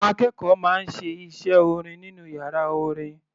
Àwọn akẹ́kọ̀ọ́ máa ń ṣe iṣẹ́ orin nínú yàrá orin.